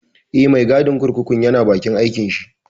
Eh, mai gadin kurkukun ya na bakin aikin shi